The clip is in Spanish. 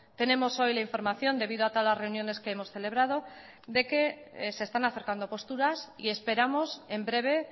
tenemos hoy la información debido a todas las reuniones que hemos celebrado de que se están acercando posturas y esperamos en breve